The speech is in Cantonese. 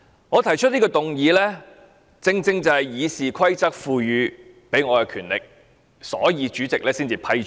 我提出這項議案，是《議事規則》賦予我的權力，所以獲得主席批准。